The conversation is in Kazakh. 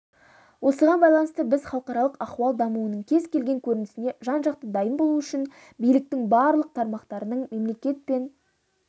осыған байланысты біз халықаралық ахуал дамуының кез келген көрінісіне жан-жақты дайын болу үшін биліктің барлық тармақтарының мемлекет пен